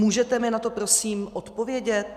Můžete mi na to prosím odpovědět?